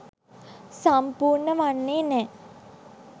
සම්පූර්ණ වන්නේ නෑ.